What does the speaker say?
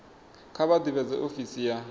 kha vha ḓivhadze ofisi ya